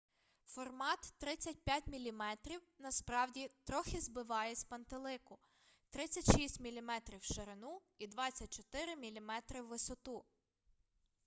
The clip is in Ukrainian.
формат 35 мм насправді трохи збиває з пантелику 36 мм в ширину і 24 мм у висоту